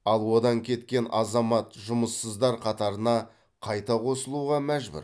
ал одан кеткен азамат жұмыссыздар қатарына қайта қосылуға мәжбүр